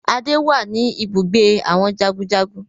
Adé wá ní ibùgbé àwọn jagunjagun